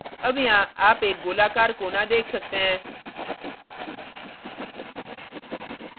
अब यहाँ आप एक गोलाकार कोना देख सकते हैं